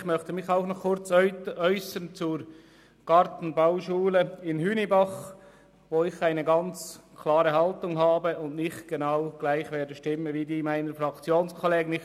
Ich möchte mich ebenfalls zur Gartenbauschule Hünibach äussern, gegenüber welcher ich eine klare Haltung einnehme und nicht gleich wie meine Fraktionskollegen stimmen werde.